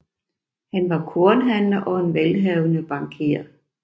Han var kornhandler og en velhavende bankier